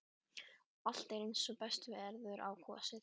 Allt er eins og best verður á kosið.